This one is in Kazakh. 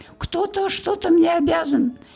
кто то что мне обязан